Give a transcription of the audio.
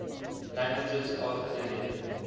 languages of libya